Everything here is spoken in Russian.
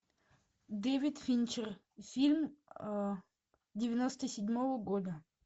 дэвид финчер фильм девяносто седьмого года